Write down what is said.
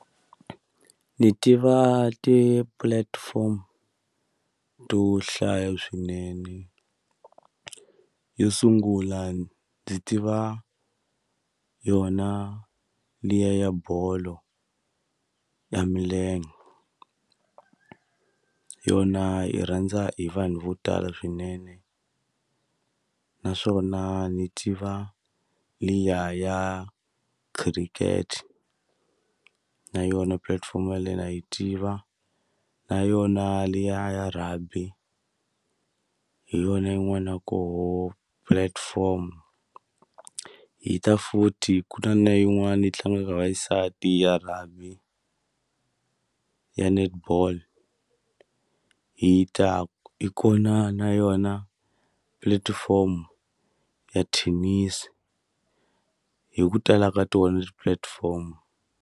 Ni tiva ti-platform to hlaya swinene yo sungula ndzi tiva yona liya ya bolo ya milenge yona yi rhandza hi vanhu vo tala swinene naswona ni tiva liya ya khiriketi na yona pulatifomo ya leyi na yi tiva na yona liya ya rugby hi yona yin'wana ya koho platform hi ta futhi ku na na yin'wani yi tlangaka va xisati ya rugby ya netball hi ta i kona na yona platform ya tennis hi ku tala ka tona ti-platform.